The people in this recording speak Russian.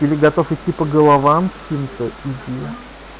или готов идти по головам чьим-то иди